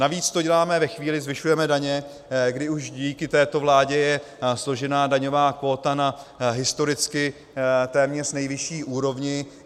Navíc to děláme ve chvíli, zvyšujeme daně, kdy už díky této vládě je složená daňová kvóta na historicky téměř nejvyšší úrovni.